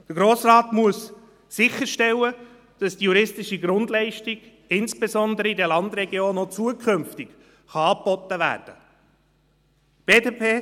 Der Grosse Rat muss sicherstellen, dass die juristische Grundleistung, insbesondere in den Landregionen, auch zukünftig angeboten werden kann.